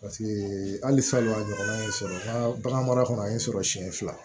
Paseke hali salon a ɲɔgɔnna ye n sɔrɔ n ka bagan mara kɔnɔ a ye n sɔrɔ siɲɛ fila